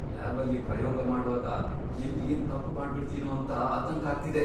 ಲ್ಯಾಬಲ್ಲಿ ಪ್ರಯೋಗ ಮಾಡ್ವಾಗ ಎಲ್ಲ್ ಏನ್ ತಪ್ಪ್ ಮಾಡ್ಬಿಡ್ತೀನೋ ಅಂತ ಆತಂಕ ಆಗ್ತಿದೆ.